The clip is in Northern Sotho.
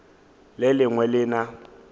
le le lengwe le na